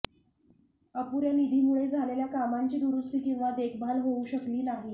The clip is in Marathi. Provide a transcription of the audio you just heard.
अपुऱ्या निधीमुळे झालेल्या कामांची दुरुस्ती किंवा देखभाल होऊ शकली नाही